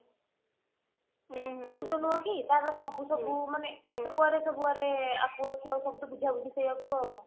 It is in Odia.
ତାର ସବୁ ସବୁ ମାନେ କେତେ କୁଆଡେ ସବୁ ମାନେ ସବୁତ ବୁଝାବୁଝି ସେଇୟା କୁ